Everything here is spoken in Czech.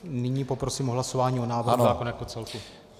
Nyní poprosím o hlasování o návrhu zákona jako celku.